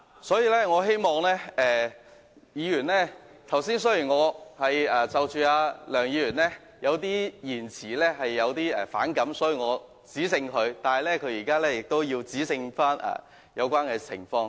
所以，我希望議員......較早前由於我對梁議員的某些言詞反感，所以我指正他，而他剛才則指正有關情況。